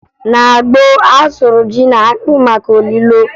Na gboo, a sụrụ ji na akpụ maka olulo